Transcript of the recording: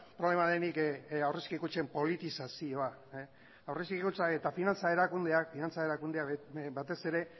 problema denik aurrezki kutxen politizazioa aurrezki kutxa eta finantza erakundeak finantza erakundeak batez ere